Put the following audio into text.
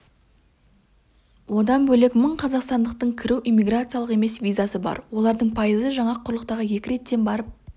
одан бөлек мың қазақстандықтың кіру иммиграциялық емес визасы бар олардың пайызы жаңа құрлыққа екі реттен барып